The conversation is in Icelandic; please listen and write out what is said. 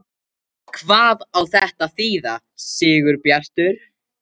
HVAÐ Á ÞETTA AÐ ÞÝÐA, SIGURBJARTUR?